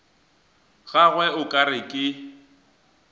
gagwe o ka re ke